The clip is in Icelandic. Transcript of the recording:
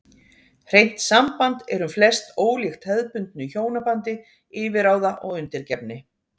Hreint samband er um flest ólíkt hefðbundnu hjónabandi yfirráða og undirgefni.